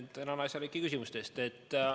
Tänan asjalike küsimuste eest!